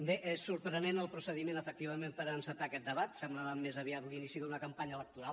bé és sorprenent el procediment efectivament per encetar aquest debat semblava més aviat l’inici d’una campanya electoral